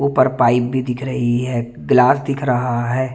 ऊपर पाइप भी दिख रही है ग्लास दिख रहा है।